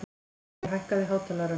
Olli, hækkaðu í hátalaranum.